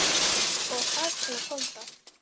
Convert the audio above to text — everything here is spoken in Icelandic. Og þarna kom það.